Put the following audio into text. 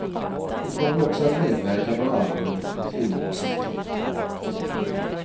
Vi kommer också att medverka på albumet med filmmusiken.